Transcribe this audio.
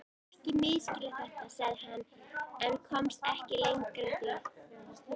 Ekki misskilja þetta, sagði hann en komst ekki lengra því